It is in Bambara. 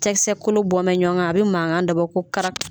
Cɛkisɛ kolo bɔ bɛ ɲɔgɔn kan, a bɛ mankan dɔ bɔ ko karaku